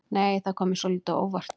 Nei! Það kom mér svolítið á óvart!